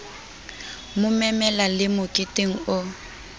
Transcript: mo memela le meketeng o